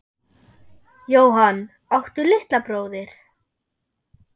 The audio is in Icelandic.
Jóhann: Áttu litla bróðir?